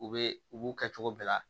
U bɛ u b'u kɛ cogo bɛɛ la